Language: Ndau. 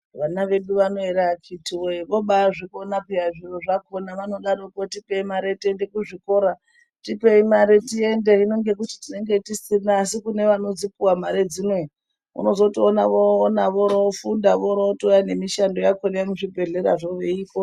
Vana vedu akiti woye vobazvikona zviro zvakona vobadaroko votipa mare tiende kuzvikora tipei mare tiende hino Atienneg tisina hino kunge vakadzipuwa vanozokona vorofundabvoroona mezvibhedhlera zvako kana.